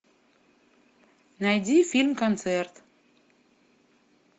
найди фильм концерт